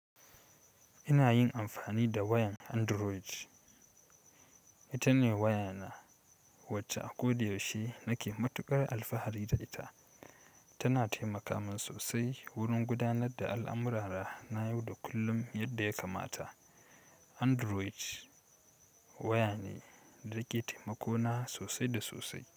Ina yin amfani da wayan Android. Ita ne wayana wacce a koda yaushe nake matuƙar alfahari da ita. Tana taimaka min sosai wurin gudanar da al'amurara na yau da kullum yadda ya kamata. Android waya ne da ke taimako na sosai da sosai.